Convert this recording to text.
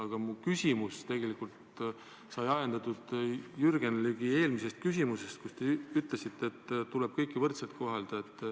Aga mu küsimus on tegelikult ajendatud Jürgen Ligi eelmisest küsimusest, mille peale te ütlesite, et tuleb kõiki võrdselt kohelda.